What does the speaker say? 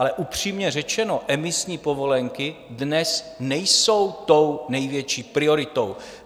Ale upřímně řečeno, emisní povolenky dnes nejsou tou největší prioritou.